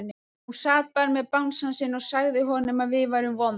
Hún sat bara með bangsann sinn og sagði honum að við værum vond.